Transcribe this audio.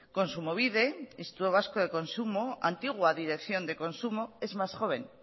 kontsumobide instituto vasco de consumo antigua dirección de consumo es más joven